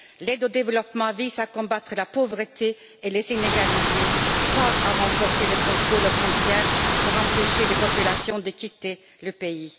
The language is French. L'aide au développement vise à combattre la pauvreté et les inégalités, pas à renforcer le contrôle aux frontières pour empêcher des populations de quitter le pays.